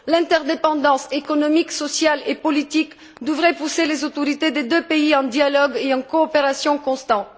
L'interdépendance économique, sociale et politique devrait pousser les autorités des deux pays à un dialogue et à une coopération constants.